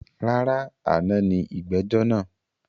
Rárá, àná ni ìgbẹ́jọ́ naa